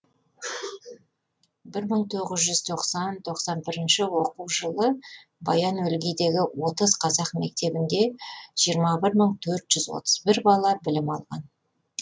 бір мың тоғыз жүз тоқсан тоқсан бірінші оқу жылы баян өлгийдегі отыз қазақ мектебінде жиырма бір мың төрт жүз отыз бір бала білім алған